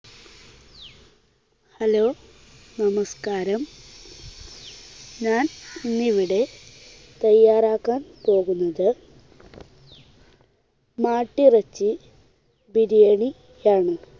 Hello നമസ്കാരം. ഞാൻ ഇന്നിവിടെ തയ്യാറാക്കാൻ പോകുന്നത് മാട്ടിറച്ചി ബിരിയാണി ആണ്.